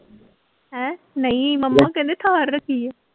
ਹੈਂ ਨਹੀਂ ਮੰਮਾ ਕਹਿੰਦੇ ਥਾਰ ਰੱਖੀ ਹੈ।